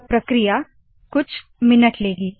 यह प्रक्रिया कुछ मिनट लेगी